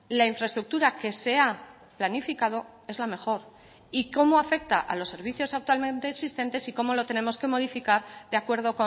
la infraestructura que se ha planificado es la mejor y cómo afecta a los servicios actualmente existentes y cómo lo tenemos que modificar de acuerdo